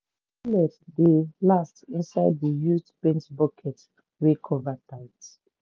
dey last inside the used paint bucket wey cover tight